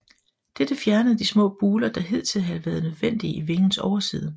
Dette fjernede de små buler der hidtil havde været nødvendige i vingens overside